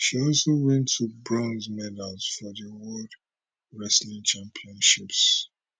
she also win two bronze medals for di world wrestling championships